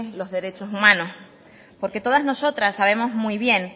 los derechos humanos porque todas nosotras sabemos muy bien